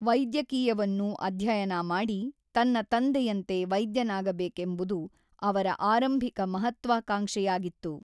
ವೈದ್ಯಕೀಯವನ್ನು ಅಧ್ಯಯನ ಮಾಡಿ ತನ್ನ ತಂದೆಯಂತೆ ವೈದ್ಯನಾಗಬೇಕೆಂಬುದು ಅವರ ಆರಂಭಿಕ ಮಹತ್ವಾಕಾಂಕ್ಷೆಯಾಗಿತ್ತು.